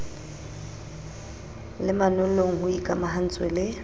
le manollong ho ikamahantswe le